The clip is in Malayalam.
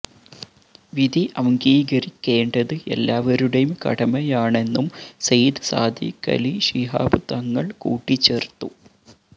വിധി അംഗീകരിക്കേണ്ടത് എല്ലാവരുടെയും കടമായണെന്നും സയ്യിദ് സാദിഖലി ശിഹാബ് തങ്ങള് കൂട്ടിച്ചേര്ത്തു